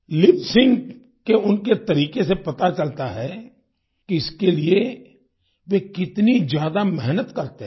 lip sync के उनके तरीके से पता चलता है कि इसके लिए वे कितनी ज्यादा मेहनत करते हैं